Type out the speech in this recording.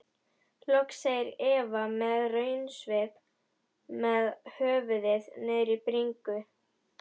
Loks segir Eva með raunasvip með höfuðið niðri í bringu.